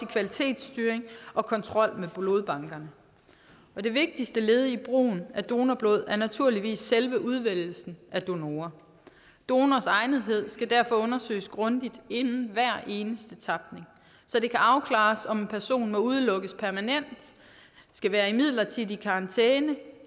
kvalitetsstyring og kontrol med blodbankerne det vigtigste led i brugen af donorblod er naturligvis selve udvælgelsen af donorer donors egnethed skal derfor undersøges grundigt inden hver eneste tapning så det kan afklares om en person må udelukkes permanent skal være i midlertidig karantæne